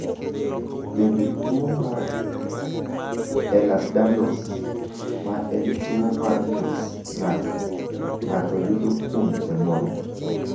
Bende tuwo mar Ehlers Danlos, ma en tuwo mar ng’ut ng’ato, ng’ato yudo kuom jonyuolne?